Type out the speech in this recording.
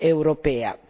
europea.